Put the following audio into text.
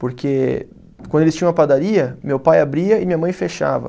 Porque quando eles tinham uma padaria, meu pai abria e minha mãe fechava.